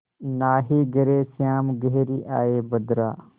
नाहीं घरे श्याम घेरि आये बदरा